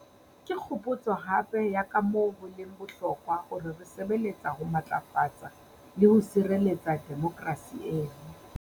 Ke kgopotso hape ya kamoo ho leng bohlokwa hore re sebe letsa le ho matlafatsa le ho sireletsa demokerasi eno.